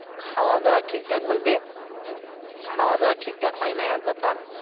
খাওয়াদাওয়া ঠিকঠাক বলতে খাওয়াদাওয়া ঠিকঠাক হয় না এক ব্যাপার।